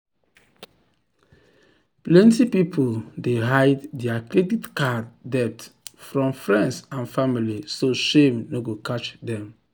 plenty people dey hide dir credit card debt from friends and family so shame no go catch dm